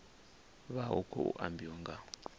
vha hu khou ambiwa nga